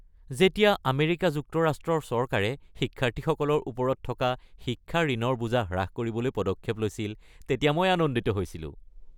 যেতিয়া আমেৰিকা যুক্তৰাষ্ট্ৰৰ চৰকাৰে শিক্ষাৰ্থীসকলৰ ওপৰত থকা শিক্ষা ঋণৰ বোজা হ্ৰাস কৰিবলৈ পদক্ষেপ লৈছিল তেতিয়া মই আনন্দিত হৈছিলো।